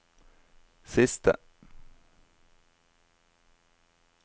siste